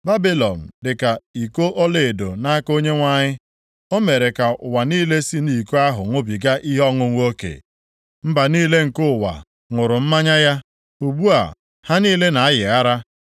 Babilọn dị ka iko ọlaedo nʼaka Onyenwe anyị. O mere ka ụwa niile si nʼiko ahụ ṅụbiga ihe ọṅụṅụ oke. Mba niile nke ụwa ṅụrụ mmanya ya. Ugbu a ha niile na-ayị ara.